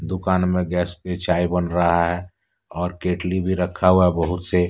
दुकान में गैस पे चाय बन रहा है और केतली भी रखा हुआ बहुत से।